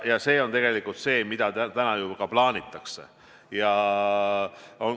Ja seda täna ka plaanitakse.